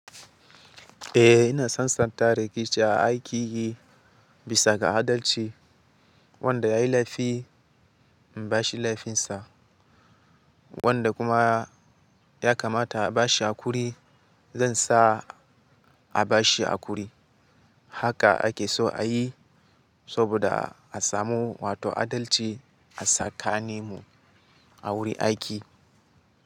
Eh ina sasanta rikici a aikinyi bisaga adalci. Wanda yayi laifi in bashi laifinsa, wanda kuma ya kamata a bashi hakuri zansa a bashi hakuri. Haka ake so a yi saboda a samu wato adalci a tsakaninmu a wurin aiki.